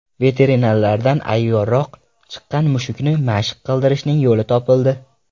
Veterinarlardan ayyorroq chiqqan mushukni mashq qildirishning yo‘li topildi.